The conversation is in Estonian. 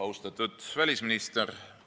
Austatud välisminister!